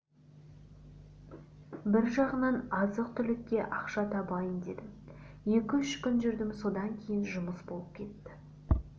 бір жағынан азық-түлікке ақша табайын дедім екі-үш күн жүрдім содан кейін жұмыс болып кетті